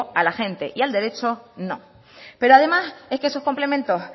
a la gente y al derecho no pero además es que esos complementos